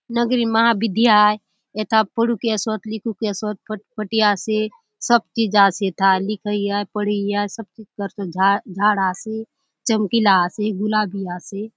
नगरी महाविद्या आय एथा पढुक ऐसोत लिखुक ऐसोत फटफटी आसे सब चीज आसे एथा लिखई आय पढ़ई आय सब चीज करसोत झाड़ झाड़ आसे चमकीला आसे गुलाबी आसे।